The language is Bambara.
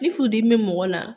Ni furu dimi bɛ mɔgɔ la.